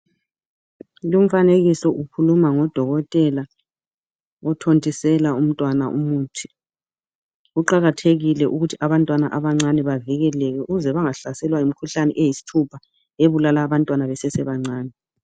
Lumfanekiso ukhuluma ngodokotela othontisela umntwana umuthi kuqakathekile ukuthi abantwana abancane bavikeleke ukuze bengahlaselwa yimikhuhlane eyisithupha ebulala abantwana besesebancani.